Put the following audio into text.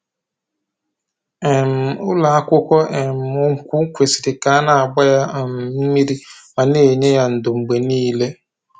um Ụlọ akwụkwọ um nkwụ kwesiri ka a na-agba ya um mmiri ma na-enye ya ńdó mgbe niile